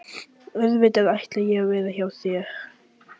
Auðvitað ætla ég að vera hjá þér!